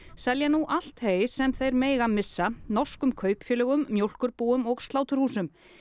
selja nú allt hey sem þeir mega missa norskum kaupfélögum mjólkurbúum og sláturhúsum